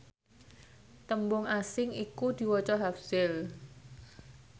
tembung asing iku diwaca hafzil